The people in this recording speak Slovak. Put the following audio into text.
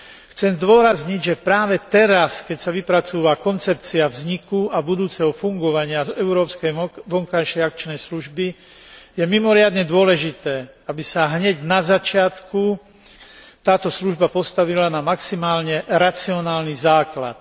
Chcem zdôrazniť, že práve teraz, keď sa vypracúva koncepcia vzniku a budúceho fungovania Európskej vonkajšej akčnej služby, je mimoriadne dôležité, aby sa hneď na začiatku táto služba postavila na maximálne racionálny základ.